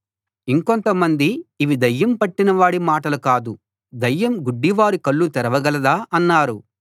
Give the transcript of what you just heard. ఇంకొంతమంది ఇవి దయ్యం పట్టినవాడి మాటలు కాదు దయ్యం గుడ్డివారి కళ్ళు తెరవగలదా అన్నారు